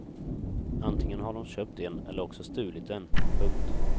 Antingen har de köpt en eller också stulit den. punkt